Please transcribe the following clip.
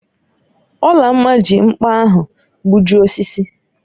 Olamma ji nkpa ahu gbujịe osisi